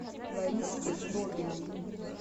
лариске злобиной